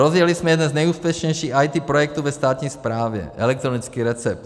Rozjeli jsme jeden z nejúspěšnějších IT projektů ve státní správě - elektronický recept.